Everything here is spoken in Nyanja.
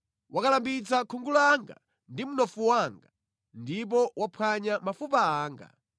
Wakalambitsa khungu langa ndi mnofu wanga, ndipo waphwanya mafupa anga.